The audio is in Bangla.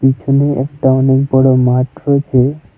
এখানে একটা অনেক বড় মাঠ রয়েছে।